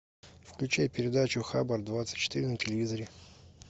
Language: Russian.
включай передачу хабар двадцать четыре на телевизоре